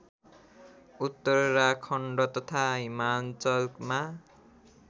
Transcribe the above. उत्तराखण्ड तथा हिमाञ्चलमा